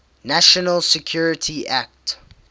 national security act